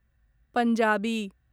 Punjabi